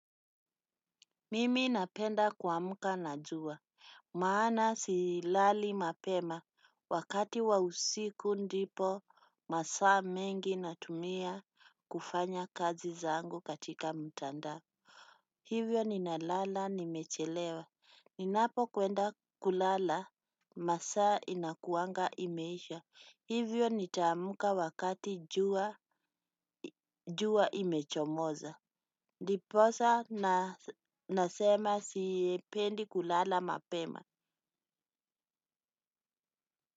Mimi napenda kuamka na jua, maana silali mapema, wakati wa usiku ndipo masaa mengi natumia kufanya kazi zangu katika mtandao. Hivyo ninalala nimechelewa, ninapo kwenda kulala, masaa inakuanga imeisha, hivyo nitamuka wakati jua imechomoza. Ndiposa nasema sipendi kulala mapema.